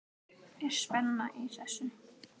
Er spenna í þessu?